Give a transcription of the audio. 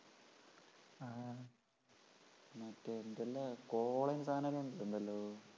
മറ്റേ എന്തെല്ലാം